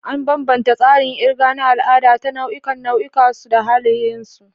An bambanta tsarin kirga na al'ada ta nau'ikan nau'ikan su da halayensu.